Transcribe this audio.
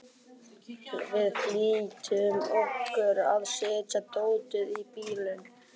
Við flýttum okkur að setja dótið í bílinn.